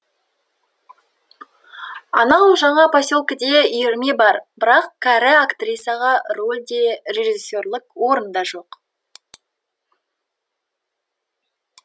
анау жаңа поселкеде үйірме бар бірақ кәрі актрисаға рөль де режиссерлік орын да жоқ